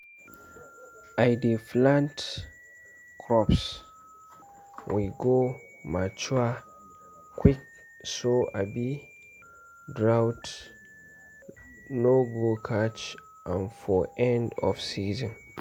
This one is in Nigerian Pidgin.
i dey plant crops wey go mature quick so um drought no go catch am for end of season.